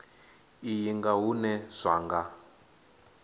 iyi nga hune zwa nga